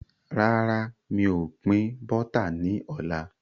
Rárá, mi ò pin Bọ́tà ni ọ̀la.